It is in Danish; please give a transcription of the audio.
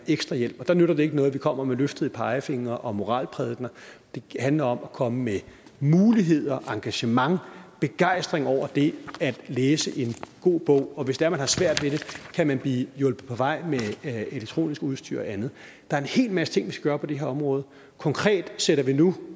ekstra hjælp der nytter det ikke noget at vi kommer med løftede pegefingre og moralprædikener det handler om at komme med muligheder engagement begejstring over det at læse en god bog hvis det er man har svært ved det kan man blive hjulpet på vej med elektronisk udstyr og andet der er en hel masse ting vi skal gøre på det her område konkret sætter vi nu